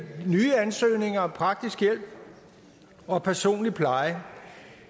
nye ansøgninger om praktisk hjælp og personlig pleje